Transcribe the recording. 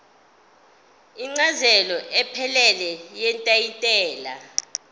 incazelo ephelele yetayitela